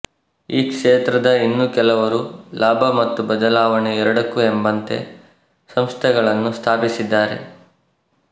ಈ ಕ್ಷೇತ್ರದ ಇನ್ನೂ ಕೆಲವರು ಲಾಭ ಮತ್ತು ಬದಲಾವಣೆ ಎರಡಕ್ಕೂ ಎಂಬಂತೆ ಸಂಸ್ಥೆಗಳನ್ನು ಸ್ಥಾಪಿಸಿದ್ದಾರೆ